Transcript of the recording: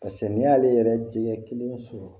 Paseke n'i y'ale yɛrɛ jɛ kelen sɔrɔ